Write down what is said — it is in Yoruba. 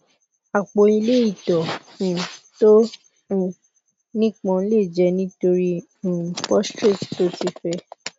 apo ile ito um to um nipon le je nitori um prostate to ti fe